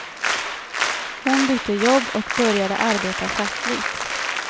Hon bytte jobb och började arbeta fackligt.